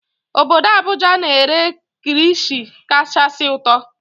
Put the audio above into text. Obodo Abuja na-ere kirishi kachasị ụtọ